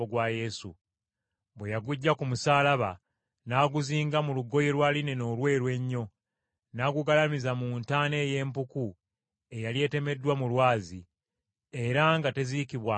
Bwe yaguggya ku musaalaba, n’aguzinga mu lugoye lwa linena olweru ennyo, n’agugalamiza mu ntaana ey’empuku eyali etemeddwa mu lwazi, era nga teziikibwangamu muntu.